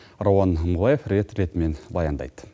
рауан мыңбаев рет ретімен баяндайды